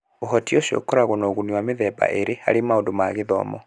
Ũhoti ũcio ũkoragwo na ũguni wa mĩthemba ĩĩrĩ harĩ maũndũ ma gĩthomo